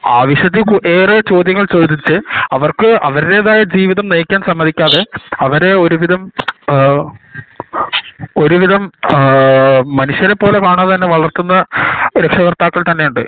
ആവശ്യത്തിൽ കു ഏറെ ചോദ്യങ്ങൾ ചോദിച്ചു അവര്ക് അവരുടേതായ ജീവിതം നയിക്കാൻ സമ്മതിക്കാതെ അവരെ ഒരുവിധം ഏഹ് ഒരുവിധം അഹ് .. മനുഷ്യരെ പോലെ കാണാതെ വളർത്തുന്ന രക്ഷകർത്താക്കൾ ഉണ്ട്